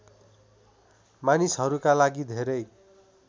मानिसहरूका लागि धेरै